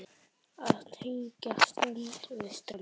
Að tengja strönd við strönd.